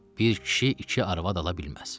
Bir kişi iki arvad ala bilməz.